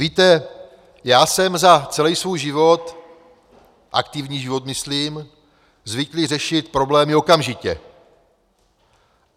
Víte, já jsem za celý svůj život - aktivní život myslím - zvyklý řešit problémy okamžitě.